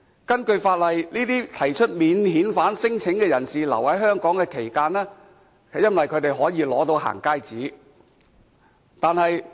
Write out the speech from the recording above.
根據法例，這些提出免遣返聲請人士在逗留香港期間，可以取得"行街紙"。